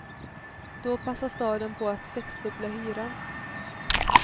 Då passade staden på att sexdubbla hyran.